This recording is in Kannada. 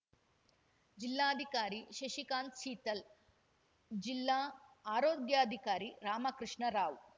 ಜಿಲ್ಲಾಧಿಕಾರಿ ಶಶಿಕಾಂತ್ ಶೀತಲ್ ಜಿಲ್ಲಾ ಆರೋಗ್ಯಾಧಿಕಾರಿ ರಾಮಕೃಷ್ಣ ರಾವ್